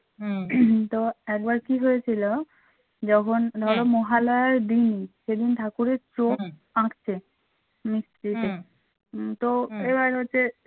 মহালয়ার দিন সেদিন ঠাকুরের চোখ আঁকছে মিস্ত্রিতে উম তো এবার হচ্ছে